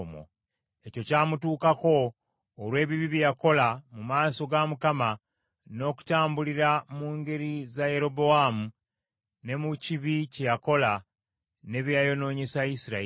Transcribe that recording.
Ekyo kyamutuukako olw’ebibi bye yakola mu maaso ga Mukama , n’okutambulira mu ngeri za Yerobowaamu, ne mu kibi kye yakola, ne bye yayonoonyesa Isirayiri.